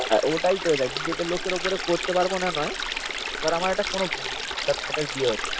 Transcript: ওটাই তো দেখ নিজের লোকের ওপর করতে পারব না নয় ধর আমার একটা কোনো বিয়ে হচ্ছে